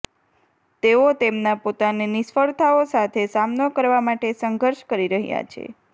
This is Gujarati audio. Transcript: તેઓ તેમના પોતાના નિષ્ફળતાઓ સાથે સામનો કરવા માટે સંઘર્ષ કરી રહ્યા છે